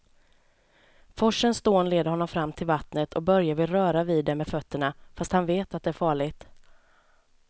Forsens dån leder honom fram till vattnet och Börje vill röra vid det med fötterna, fast han vet att det är farligt.